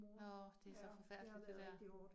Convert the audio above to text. Nåh, det så forfærdeligt det der